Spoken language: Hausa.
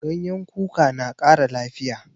Ganyen kuka na ƙara lafiya.